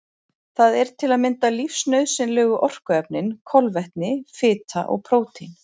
Það eru til að mynda lífsnauðsynlegu orkuefnin kolvetni, fita og prótín.